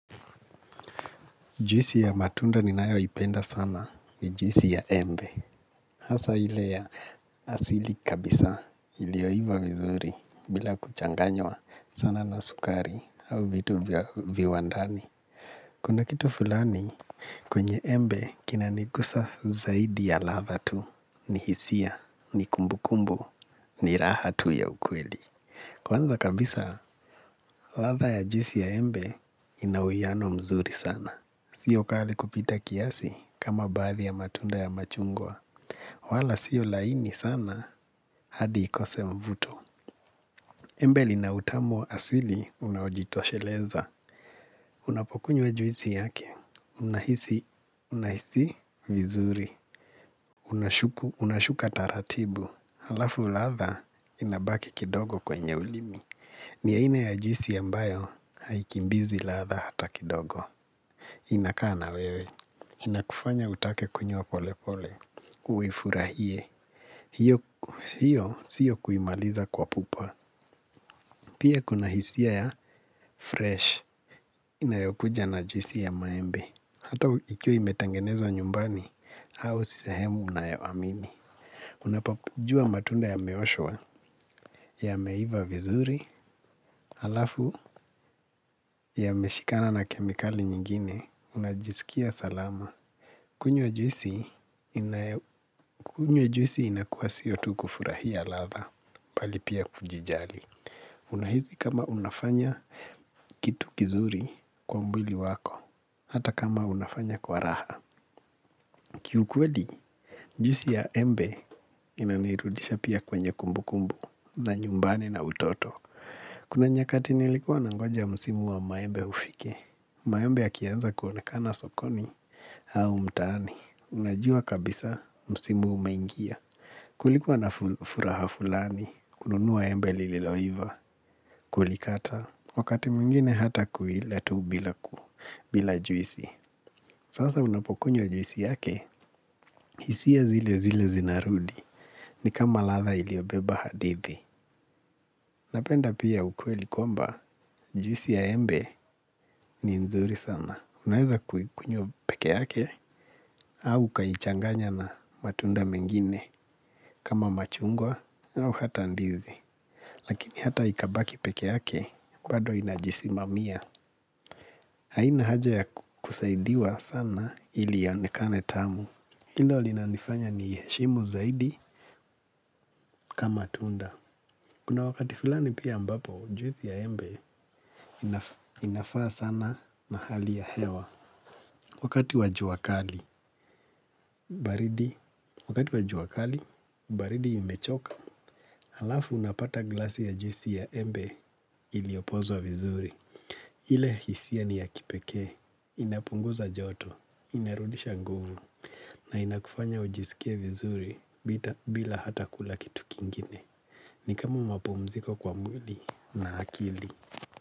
Juisi ya matunda ninayoipenda sana ni juisi ya embe. Hasa ile ya asili kabisa ilioiva vizuri bila kuchanganywa sana na sukari au vitu vya viwandani. Kuna kitu fulani kwenye embe kinanigusa zaidi ya ladha tu ni hisia ni kumbukumbu ni raha tu ya ukweli. Kwanza kabisa ladha ya juisi ya embe ina uwiano mzuri sana. Sio kali kupita kiasi kama baadhi ya matunda ya machungwa. Wala sio laini sana hadi ikose mvuto. Embe lina utamu asili unajitosheleza. Unapokunywa juisi yake unahisi vizuri. Unashuka taratibu. Halafu ladha inabaki kidogo kwenye ulimi. Ni aina ya juisi ambayo haikimbizi ladha hata kidogo. Inakaa na wewe. Inakufanya utake kunywa polepole uifurahie. Hio siyo kuimaliza kwa pupa. Pia kuna hisia ya fresh inayokuja na juisi ya maembe. Hata ikiwa imetangenezwa nyumbani au si sehemu unayoamini. Unapojua matunda yameoshwa. Yameiva vizuri. Alafu yameshikana na kemikali nyingine. Unajisikia salama. Kunywa juisi inakuwa siyo tu kufurahia ladha bali pia kujijali. Unahisi kama unafanya kitu kizuri kwa mwili wako, hata kama unafanya kwa raha. Kiukwedi, juisi ya embe inanirudisha pia kwenye kumbukumbu na nyumbani na utoto. Kuna nyakati nilikuwa nangoja msimu wa maembe ufike. Maembe yakianza kuonekana sokoni au mtaani unajua kabisa msimu umeingia. Kulikuwa na furaha fulani kununuwa embe liloiva Kulikata Wakati mwingine hata kuila tu bila juisi. Sasa unapokunywa juisi yake. Hisia zile zile zinarudi. Ni kama ladha iliobeba hadithi. Napenda pia ukweli kwamba juisi ya embe ni nzuri sana. Unaweza kukunywa peke yake au ukaichanganya na matunda mengine kama machungwa au hata ndizi lakini hata ikabaki peke ake bado inajisimamia haina haja yakusaidiwa sana ili ionekane tamu ilo linanifanya niiheshimu zaidi kama tunda kuna wakati fulani pia ambapo juisi ya embe inafaa sana na hali ya hewa wakati wa jua kali baridi wakati wa jua kali baridi imechoka. Alafu unapata glasi ya juisi ya embe iliopozwa vizuri. Ile hisia ni ya kipekee, inapunguza joto, inarudisha nguvu, na inakufanya ujisikie vizuri bila hata kula kitu kingine. Ni kama mapumziko kwa mwili na akili.